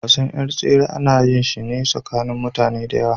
Wasan yar tsere ana yin shi ne tsakanin mutane masu yawa.